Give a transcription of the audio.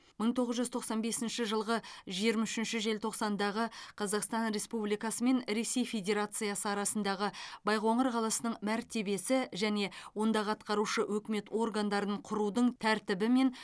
мың тоғыз жүз тоқсан бесінші жылғы жиырма үшінші желтоқсандағы қазақстан республикасы мен ресей федерациясы арасындағы байқоңыр қаласының мәртебесі және ондағы атқарушы өкімет органдарын құрудың тәртібі мен